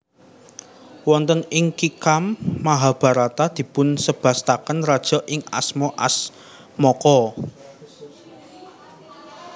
Wonten ing Kkitam Mahabharata dipunsebataken raja ingkang asma Asmaka